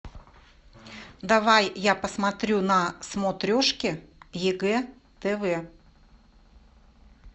давай я посмотрю на смотрешке егэ тв